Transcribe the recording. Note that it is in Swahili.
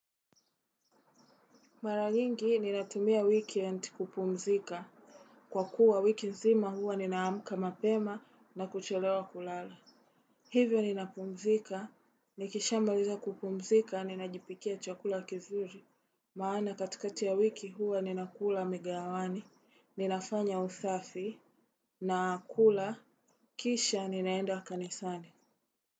Mara nyingi ninatumia weekend kupumzika. Kwa kuwa wiki nzima huwa ninaamka mapema na kuchelewa kulala. Hivyo ninapumzika, nikishamaliza kupumzika, ninajipikia chakula kizuri. Maana katikati ya wiki huwa ninakula migawani, ninafanya usafi, nakula, kisha ninaenda kanisani.